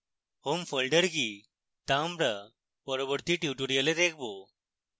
home folder কি তা আমরা পরবর্তী tutorial দেখবো